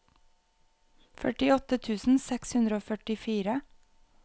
førtiåtte tusen seks hundre og førtifire